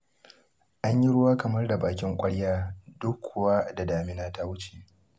An yi ruwa kamar da bakin ƙwarya duk kuwa da damina ta wuce.